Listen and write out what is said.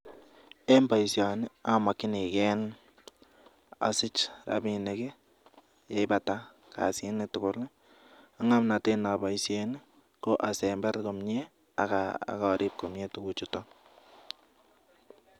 Eng paishanii amajnikei rapinik asamuj apaiishe asemberee akarip